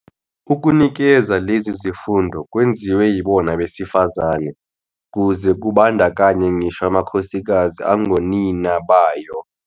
Ukunikeza lezi zifundo kwenziwa yibona abesifazane kuze kumbandakanye ngisho amakhosikazi angonina bayo